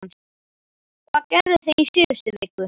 Hvað gerðuð þið í síðustu viku?